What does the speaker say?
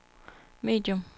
medium